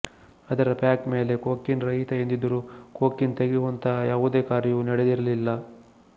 ಅದರ ಪ್ಯಾಕ್ ಮೇಲೆ ಕೊಕೇನ್ ರಹಿತ ಎಂದಿದ್ದರೂ ಕೊಕೇನ್ ತೆಗೆಯುವಂತಹ ಯಾವುದೇ ಕಾರ್ಯವೂ ನಡೆದಿರಲಿಲ್ಲ